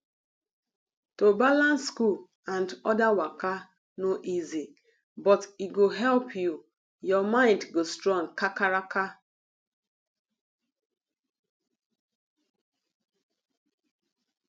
to balance school and another waka no easy but he go help your mind stand kakaraka